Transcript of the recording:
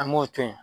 An b'o to yen